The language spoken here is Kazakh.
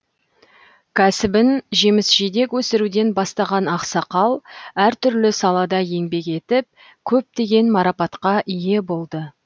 кәсібін жеміс жидек өсіруден бастаған ақсақал әртүрлі салада еңбек етіп көптеген марапатқа ие болды